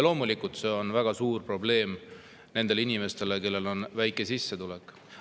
Loomulikult see on väga suur probleem nendele inimestele, kellel on väike sissetulek.